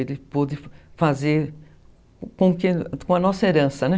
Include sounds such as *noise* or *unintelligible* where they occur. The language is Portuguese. Ele pôde fazer com *unintelligible* a nossa herança, né?